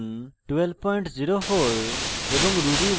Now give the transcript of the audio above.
ubuntu সংস্করণ 1204 এবং